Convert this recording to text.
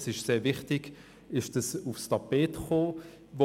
Deshalb ist es wichtig, dass das Thema aufs Tapet gekommen ist.